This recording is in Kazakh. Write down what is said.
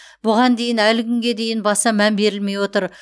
бұған дейін әлі күнге дейін баса мән берілмей отыр